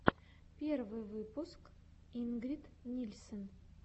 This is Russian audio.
первый выпуск ингрид нильсен